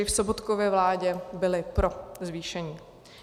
I v Sobotkově vládě byli pro zvýšení.